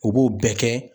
U b'o bɛɛ kɛ